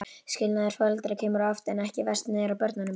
Skilnaður foreldra kemur oftar en ekki verst niður á börnunum.